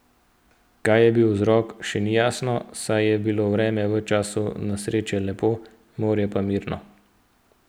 Kaj je bil vzrok še ni jasno, saj je bilo vreme v času nesreče lepo, morje pa mirno.